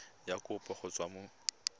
ya kopo go tswa mo